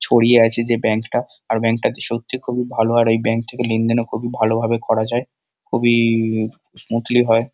ছড়িয়ে আছে যে ব্যাংক টা। আর ব্যাংকটা সত্যিই খুবই ভালো আর এই ব্যাংক থেকে লেনদেন খুবই ভালোভাবে করা যায়। খুব-ই স্মুদলি হয়।